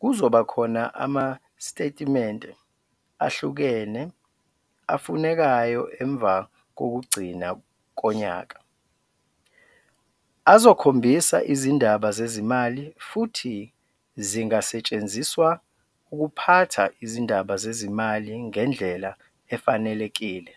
kuzoba khona amasitetimente ahlukene afunekayo emva kokugcina konyaka azokhombisa izindaba zezimali futhi zingasetshenziswa ukuphatha izindaba zezimali ngendlela efanelekile.